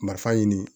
Marifa ɲini